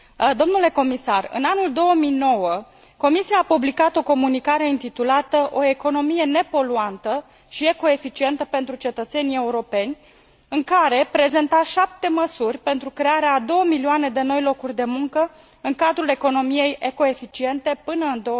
Domnule comisar, în anul 2009, Comisia a publicat o comunicare intitulată O economie nepoluantă și ecoeficientă pentru cetățenii europeni, în care prezenta șapte măsuri pentru crearea a două milioane de noi locuri de muncă în cadrul economiei ecoeficiente până în